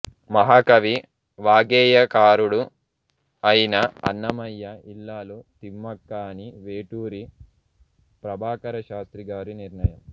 మహాకవి వాగ్గేయకారుడు అయిన అన్నమయ్య ఇల్లాలు తిమ్మక్క అని వేటూరి ప్రభాకరశాస్త్రి గారి నిర్ణయం